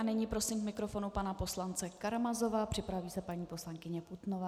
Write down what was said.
A nyní prosím k mikrofonu pana poslance Karamazova, připraví se paní poslankyně Putnová.